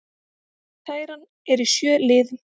Kæran er í sjö liðum